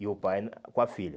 E o pai na com a filha.